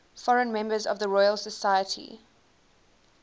foreign members of the royal society